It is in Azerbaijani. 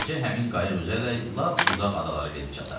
Beləcə həmin qayıq üzərək lap uzaq adalara gedib çatar.